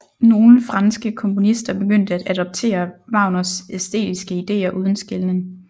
Nogle franske komponister begyndte at adoptere Wagners æstetiske ideer uden skelnen